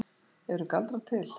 Eru galdrar til?